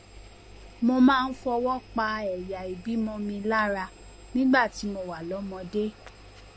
mo máa ń fọwọ pa ẹyà ìbímọ mi lára nígbà tí mo wà lọmọdé